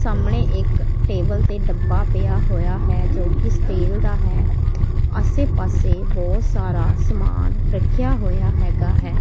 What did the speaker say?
ਸਾਹਮਣੇ ਇੱਕ ਟੇਬਲ ਤੇ ਡੱਬਾ ਪਿਆ ਹੋਇਆ ਹੈ ਜੋ ਕਿ ਸਟੀਲ ਦਾ ਹੈ ਆਸੇ ਪਾਸੇ ਬਹੁਤ ਸਾਰਾ ਸਮਾਨ ਰੱਖਿਆ ਹੋਇਆ ਹੈ।